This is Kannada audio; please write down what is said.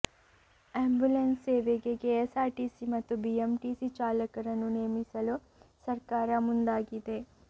ಆಂಬ್ಯುಲೆನ್ಸ್ ಸೇವೆಗೆ ಕೆಎಸ್ಆರ್ಟಿಸಿ ಮತ್ತು ಬಿಎಂಟಿಸಿ ಚಾಲಕರನ್ನು ನೇಮಿಸಲು ಸರ್ಕಾರ ಮುಂದಾಗಿದೆ